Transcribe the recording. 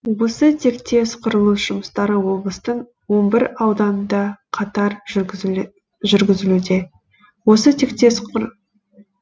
осы тектес құрылыс жұмыстары облыстың он бір ауданында қатар жүрзілуде